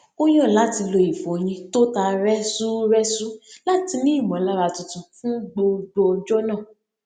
ó yàn láti lo ìfọyín tó ta rẹsúrẹsú láti ní ìmọlára tuntun fún gbogbo ọjọ náà